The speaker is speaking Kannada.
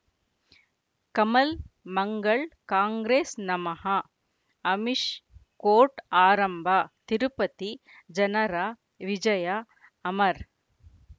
ಕಮಲ್ ಮಂಗಳ್ ಕಾಂಗ್ರೆಸ್ ನಮಃ ಅಮಿಷ್ ಕೋರ್ಟ್ ಆರಂಭ ತಿರುಪತಿ ಜನರ ವಿಜಯ ಅಮರ್